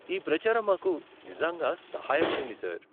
ఈ ప్రచారం మాకు నిజంగా సహాయపడింది, సార్.